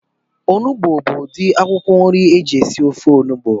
Onugbu bu udi akwụkwọ nri eji esi ofe onugbu